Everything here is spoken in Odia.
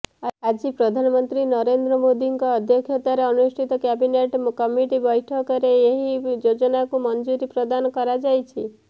ଆଜି ପ୍ରଧାନମନ୍ତ୍ରୀ ନରେନ୍ଦ୍ର ମୋଦୀଙ୍କ ଅଧ୍ୟକ୍ଷତାରେ ଅନୁଷ୍ଠିତ କ୍ୟାବିନେଟ୍ କମିଟି ବୈଠକରେ ଏହି ଯୋଜନାକୁ ମଞ୍ଜୁରି ପ୍ରଦାନ କରାଯାଇଛି